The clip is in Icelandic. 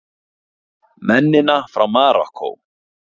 Mennina frá Marokkó!